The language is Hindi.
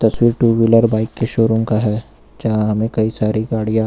जो टू व्हीलर बाइक के शोरुम का है यहां हमें कई सारी गाड़ियां--